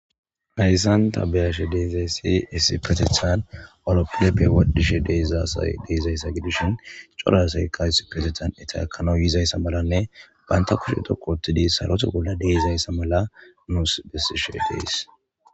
hayssan taa be'ashe deezayssi issipetethan alophilepe wodhishe de'izasay deezayssa gidishin cora asay qa issipetethan etta ekana yizayssa malanne baynta kushe dhoqu ottidi sarota bolla de'izayssa mala nuusi bessishe dees